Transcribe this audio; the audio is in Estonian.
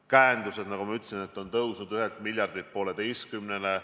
Käendused, nagu ma ütlesin, on kasvanud 1 miljardilt 1,5 miljardile.